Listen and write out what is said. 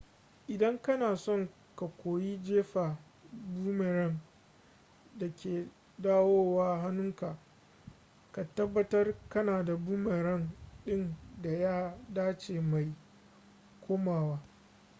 idan kana son ka koyi jefa boomerang da ke dawowa hannunka ka tabbatar kana da boomerang din da ya dace mai komowa